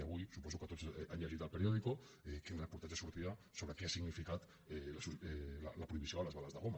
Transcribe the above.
i avui suposo que tots han llegit a el periódico quin reportatge sortia sobre què ha significat la prohibició de les bales de goma